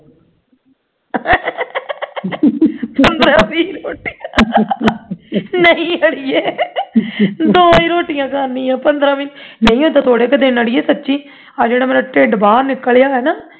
ਪੰਦਰਾਂ ਵੀਹ ਰੋਟੀਆਂ ਨਹੀਂ ਅੜੀਏ ਦੋ ਹੀ ਰੋਟੀਆਂ ਖਾਣੀਆਂ ਪੰਦਰਾਂ ਵੀਹ ਨਹੀਂ ਉਤਰ੍ਹਾਂ ਹੀ ਘੋੜੇ ਕ ਦਿਨ ਅੜੀਏ ਸੱਚੀ ਆਹ ਜਿਹੜਾ ਮੇਰਾ ਢਿੱਡ ਬਾਹਰ ਨਿਕਲਿਆ